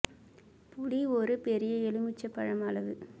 புளி ஒரு பெரிய எலுமிச்சம்பழம் அளவு